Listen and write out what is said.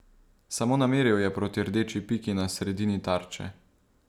Samo nameril je proti rdeči piki na sredini tarče.